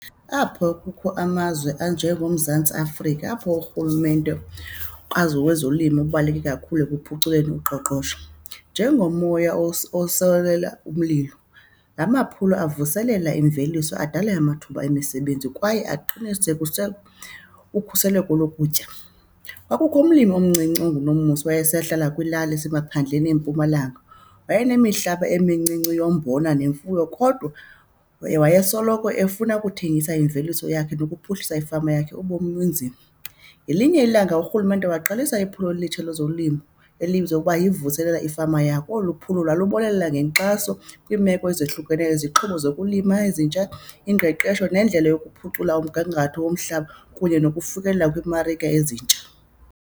Apho kukho amazwe anjengoMzantsi Afrika apho urhulumente azo kwezolimo kubaluleke kakhulu ekuphuculeni uqoqosho. Njengomoya umlilo, la maphulo ivuselela imveliso, adale amathuba emisebenzi kwaye aqinisekise ukhuseleko lokutya. Kwakukho umlimi omncinci unguNomusa wayesahlala kwilali esemaphandleni eMpumalanga wayenemihlaba emincinci yombona nemfuyo kodwa wayesoloko efuna ukuthengisa iimveliso yakhe nokuphuhlisa ifama yakhe ubomi bunzima. Ngelinye ilanga urhulumente waqalisa iphulo elitsha lezolimo elibizwa ukuba yiVuselela ifama Yakho. Olu phulo lwalubonelela ngenkxaso kwiimeko ezohlukeneyo, izixhobo zokulima ezintsha, ingqeqesho nendlela yokuphucula umgangatho womhlaba kunye nokufikelela kwiimarike ezintsha.